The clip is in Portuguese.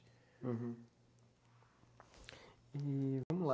Uhum. E vamos lá.